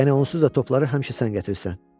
Yəni onsuz da topları həmişə sən gətirirsən.